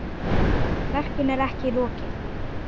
Verkinu er ekki lokið.